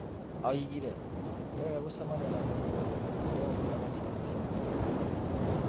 Oigire, "Nĩ wega gũcamania na mũndũ mwĩhokeku ũrĩa ũrutaga ciana ciake wĩhokeku."